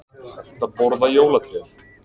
Hægt að borða jólatréð